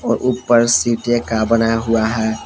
ऊपर सीटे का बनाया हुआ है।